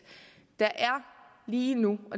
der er lige nu